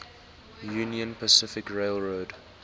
union pacific railroad